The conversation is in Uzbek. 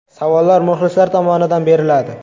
Savollar muxlislar tomonidan beriladi.